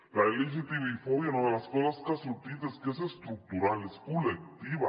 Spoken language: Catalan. la lgtbi fòbia una de les coses que ha sortit és que és estructural és col·lectiva